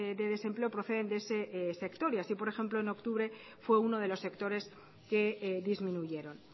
de desempleo proceden de ese sector y así por ejemplo en octubre fue uno de los sectores que disminuyeron